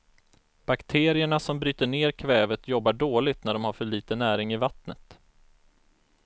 Bakterierna som bryter ner kvävet jobbar dåligt när de har för lite näring i vattnet.